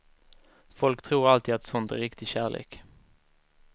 Folk tror alltid att sånt är riktig kärlek.